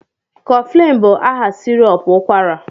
Coflin bụ aha sirop ụkwara